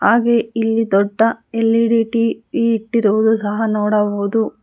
ಹಾಗೆ ಇಲ್ಲಿ ದೊಡ್ಡ ಎಲ್_ಇ_ಡಿ ಟಿ_ವಿ ಇಟ್ಟಿರೋದು ಸಹ ನೋಡಬಹುದು.